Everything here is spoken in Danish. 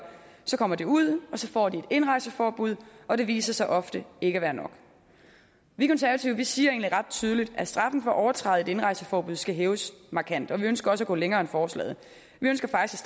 så kommer de ud og så får de et indrejseforbud og det viser sig ofte ikke at være nok vi konservative siger egentlig ret tydeligt at straffen for at overtræde et indrejseforbud skal hæves markant og vi ønsker også at gå længere end forslaget vi ønsker faktisk